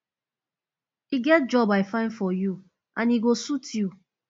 e get job i find for you and e go suit you